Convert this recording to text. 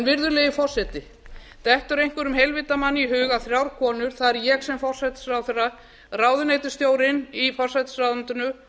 virðulegi forseti dettur einhverjum heilvita manni í hug að þrjár konur það er ég sem forsætisráðherra ráðuneytisstjórinn í forsætisráðuneytinu